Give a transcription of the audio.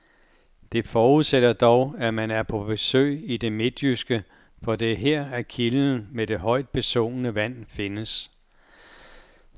Det forudsætter dog, at man er på besøg i det midtjyske, for det er her, at kilden med det højt besungne vand findes.